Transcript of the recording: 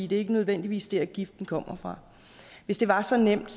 det er ikke nødvendigvis der giften kommer fra hvis det var så nemt